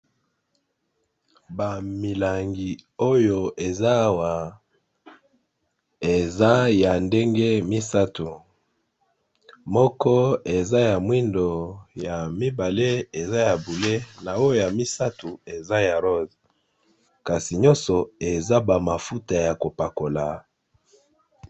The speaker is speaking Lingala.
Ba milangi oyo eza Awa eza yandenge misatu moko eza ya mwindo ya mibala eza bonzinga ya misatu eza ya rose kasi nyoso eza ba mafuta yakopakola.